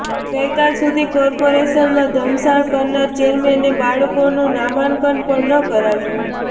ગઈકાલ સુધી કોર્પોરેશનમાં ધમસાણ કરનાર ચેરમેને બાળકોનું નામાંકન પણ ન કરાવ્યું